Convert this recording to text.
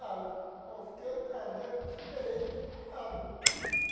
Ah, eu fiquei, ah de esperei, fiquei parado.